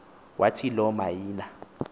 wathi lo miana